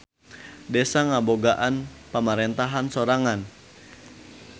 Desa ngabogaan pamarentahan sorangan.